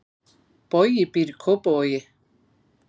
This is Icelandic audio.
Bogi býr í Kópavogi.